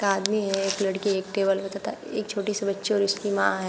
एक आदमी है। एक लड़की है। एक टेबल पे तथा एक छोटी सी बच्ची और उसकी मां है।